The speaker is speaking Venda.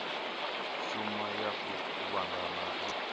shoma ya u kuvhangana u